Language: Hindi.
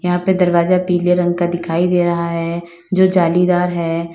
यहां पे दरवाजा पीले रंग का दिखाई दे रहा है जो जालीदार है।